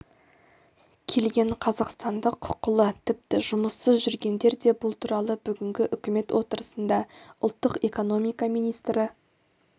келген қазақстандық құқылы тіпті жұмыссыз жүргендер де бұл туралы бүгінгі үкімет отырысында ұлттық экономика министрі